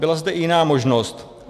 Byla zde i jiná možnost.